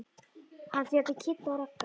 Hann fer til Kidda og Ragga.